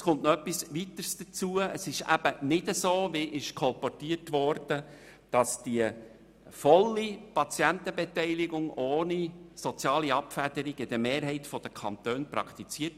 Es wurde mir gesagt, die volle Patientenbeteiligung ohne soziale Abfederung werde in der Mehrheit der Kantone praktiziert.